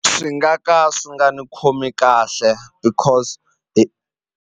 Swi nga ka swi nga ni khomi kahle because .